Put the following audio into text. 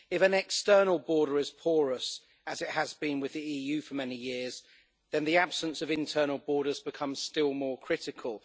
If an external border is porous as it has been with the EU for many years then the absence of internal borders becomes still more critical.